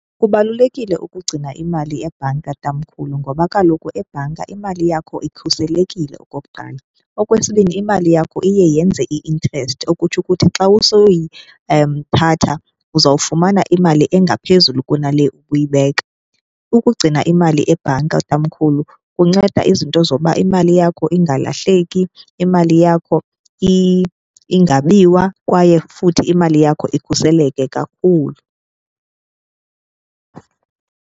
Kubalulekile ukugcina imali ebhanka, tamkhulu, ngoba kaloku ebhanka imali yakho ikhuselekile okokuqala. Okwesibini, imali yakho iye yenze i-interest okutsho ukuthi xa thatha uzawufumana imali engaphezulu kunale ubuyibeka. Ukugcina imali ebhanka, tamkhulu, kunceda izinto zoba imali yakho ingalahleki, imali yakho ingabiwa kwaye futhi imali yakho ikhuseleke kakhulu.